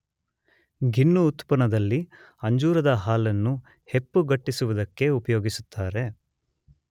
ಗಿಣ್ಣು ಉತ್ಪನ್ನದಲ್ಲಿ ಅಂಜೂರದ ಹಾಲನ್ನು ಹೆಪ್ಪುಗಟ್ಟಿಸುವುದಕ್ಕೆ ಉಪಯೋಗಿಸುತ್ತಾರೆ.